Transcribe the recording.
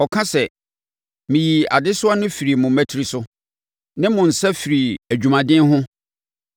Ɔka sɛ, “Meyii adesoa no firii mo mmatire so, ne mo nsa firii adwumaden ho.